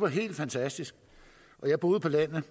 var helt fantastisk jeg boede på landet